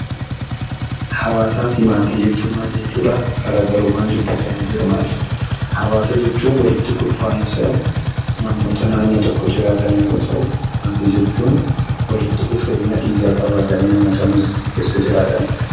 Hawaasaa fi maatii jechuun maal jechuudha? Garaagarummaan jidduu isaanii jiru maali? Hawaasa jechuun walitti kurfaa'insa namoota naannoo tokko jiraatan yeroo ta'u, maatii jechuun walitti dhufeenya dhiigaa qabaatanii namoota mana tokko keessa jiraatanidha.